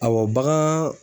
Awɔ bagan